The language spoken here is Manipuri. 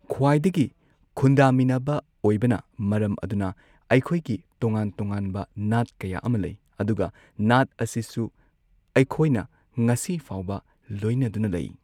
ꯈ꯭ꯋꯥꯏꯗꯒꯤ ꯈꯨꯟꯗꯥꯃꯤꯟꯅꯕ ꯑꯣꯏꯕꯅ ꯃꯔꯝ ꯑꯗꯨꯅ ꯑꯩꯈꯣꯏꯒꯤ ꯇꯣꯉꯥꯟ ꯇꯣꯉꯥꯟꯕ ꯅꯥꯠ ꯀꯌꯥ ꯑꯃ ꯂꯩ ꯑꯗꯨꯒ ꯅꯥꯠ ꯑꯁꯤꯁꯨ ꯑꯩꯈꯣꯏꯅ ꯉꯁꯤ ꯐꯥꯎꯕ ꯂꯣꯏꯅꯗꯨꯅ ꯂꯩ꯫